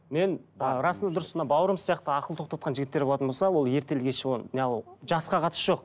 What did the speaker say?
мен расында дұрыс мына бауырымыз сияқты ақыл тоқтатқан жігіттер болатын болса ол ертелі кеш оны жасқа қатысы жоқ